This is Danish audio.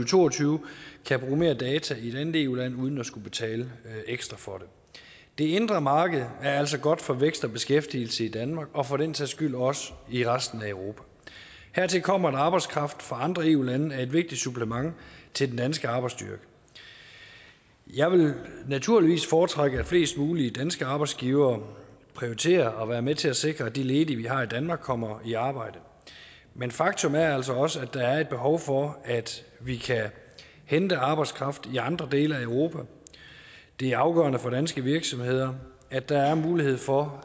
to og tyve kan bruge mere data i et andet eu land uden at skulle betale ekstra for det det indre marked er altså godt for vækst og beskæftigelse i danmark og for den sags skyld også i resten af europa hertil kommer at arbejdskraft fra andre eu lande er et vigtigt supplement til den danske arbejdsstyrke jeg vil naturligvis foretrække at flest mulige danske arbejdsgivere prioriterer at være med til at sikre at de ledige vi har i danmark kommer i arbejde men faktum er altså også at der er behov for at vi kan hente arbejdskraft i andre dele af europa det er afgørende for danske virksomheder at der er mulighed for